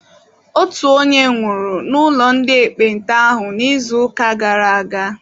Otu onye nwụrụ n'ụlọ ndị ekpenta ahụ n'izuụka gara aga.